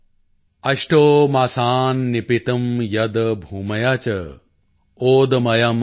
ਅਸ਼ਟੌ ਮਾਸਾਨ੍ ਨਿਪੀਤੰ ਯਦ੍ ਭੂਮਯਾ ਚ ਓਦਮਯਮ੍ ਵਸੁ